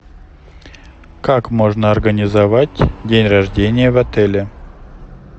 как можно организовать день рождения в отеле